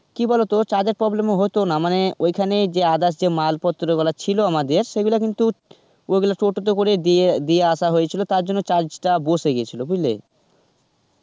কি বলতো charge এর problem ও হতোনা, মানে ওইখানে যে others যে মালপত্রগুলো ছিল আমাদের সেগুলো কিন্তু ওগুলো টোটোতে করে দিয়ে দিয়ে আসা হয়েছিল তার জন্য charge টা বসে গেছিল বুঝলে?